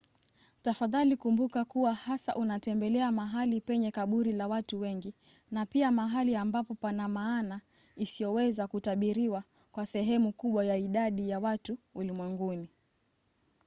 tafadhali kumbuka kuwa hasa unatembelea mahali penye kaburi la watu wengi na pia mahali ambapo pana maana isiyoweza kutabiriwa kwa sehemu kubwa ya idadi ya watu ulimwenguni